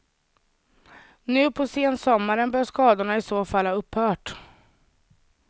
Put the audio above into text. Nu på sensommaren bör skadorna i så fall ha upphört.